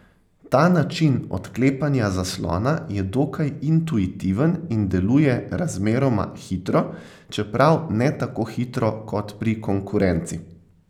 Ta način odklepanja zaslona je dokaj intuitiven in deluje razmeroma hitro, čeprav ne tako hitro kot pri konkurenci.